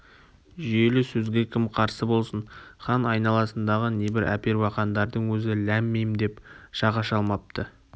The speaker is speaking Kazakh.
жүйелі сөзге кім қарсы болсын хан айналасындағы небір әпербақандардың өзі ләм-мим деп жақ аша алмапты